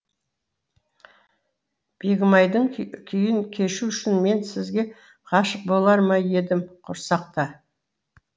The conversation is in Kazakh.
бегімайдың күйін кешу үшін мен сізге ғашық болар ма едім құрсақта